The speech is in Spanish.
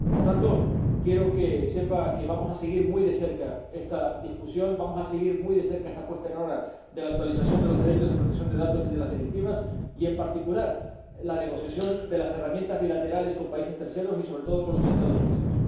Por tanto, quiero que sepa que vamos a seguir muy de cerca esta discusión, vamos a seguir muy de cerca esta puesta en hora de la actualización de los derechos de protección de datos y de las directivas y, en particular, la negociación de las herramientas bilaterales con terceros países y, sobre todo, con los Estados Unidos.